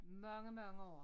Mange mange år